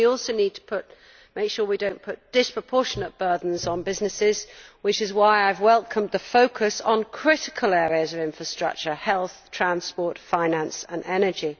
We also need to make sure that we do not put disproportionate burdens on businesses, which is why I welcome the focus on critical areas of infrastructure health, transport, finance and energy.